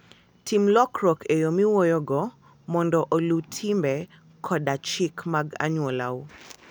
Tim lokruok e yo miwuoyogo mondo oluw timbe koda chike mag anyuolau.